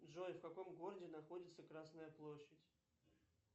джой в каком городе находится красная площадь